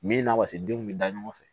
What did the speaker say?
Min na wace denw bɛ da ɲɔgɔn fɛ